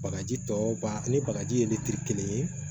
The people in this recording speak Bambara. Bagaji tɔ ba ani bagaji ye litiri kelen ye